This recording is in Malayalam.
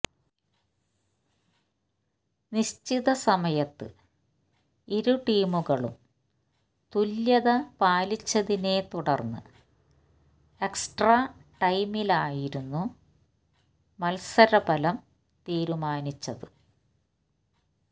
നിശ്ചിത സമയത്ത് ഇരുടീമുകളും തുല്യത പാലിച്ചതിനെ തുടര്ന്ന് എക്സ്ട്രാ ടൈമിലായിരുന്നു മത്സരഫലം തീരുമാനിച്ചത്